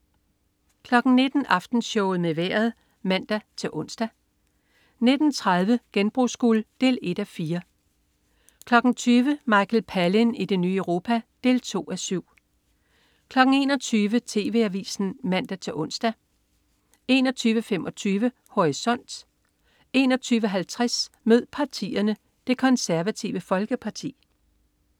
19.00 Aftenshowet med Vejret (man-ons) 19.30 Genbrugsguld. 1:4 20.00 Michael Palin i det nye Europa. 2:7 21.00 TV Avisen (man-ons) 21.25 Horisont 21.50 Mød partierne: Det Konservative Folkeparti